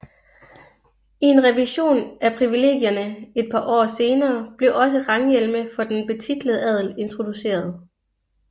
I en revision af privilegierne et par år senere blev også ranghjelme for den betitlede adel introduceret